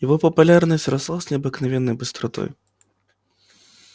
его популярность росла с необыкновенной быстротой